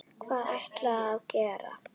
Hvað ætlarðu að gera?